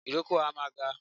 Ìrókò a máa ga